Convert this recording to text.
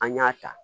An y'a ta